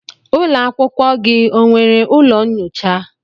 Ụlọ akwụkwọ gị o nwere ụlọ nnyocha?